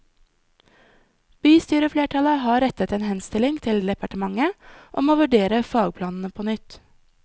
Bystyreflertallet har rettet en henstilling til departementet om å vurdere fagplanene på nytt.